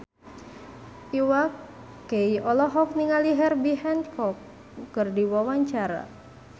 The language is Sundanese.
Iwa K olohok ningali Herbie Hancock keur diwawancara